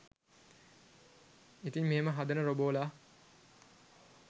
ඉතින් මෙහෙම හදන රොබෝලා